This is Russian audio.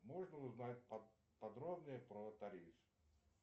можно узнать подробнее про тариф